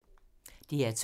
DR2